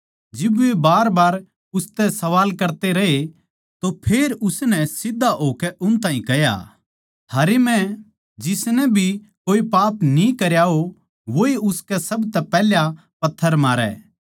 जिब वे बारबार उसतै सवाल करते रहे तो फेर उसनै सीध्धा होकै उन ताहीं कह्या थारै म्ह जिसनै भी कोए पाप न्ही करया हो वोए उसकै सबतै पैहला पत्थर मारै